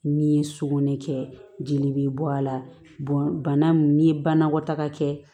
Min ye sugunɛ kɛ jeli bɛ bɔ a la bana min n'i ye banakɔtaga kɛ